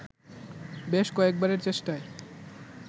বেশ কয়েকবারের চেষ্টায়